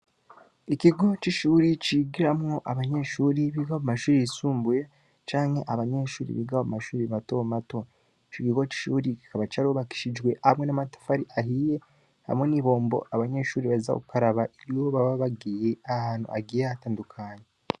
Ikigo c'ishuri, cigiramwo abanyeshuri biga mu mashuri yisumbuye, canke abanyeshuri biga mu mashuri mato mato; ico kigo c'ishuri, kikaba carubakishijwe hamwe n'amatafari ahiye, hamwe n'ibombo abanyeshuri baheza gukaraba, iyo baba bagiye ahantu hagiye hatandukanye.